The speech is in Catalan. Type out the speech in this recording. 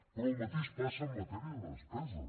però el mateix passa en matèria de despesa